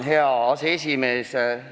Hea aseesimees!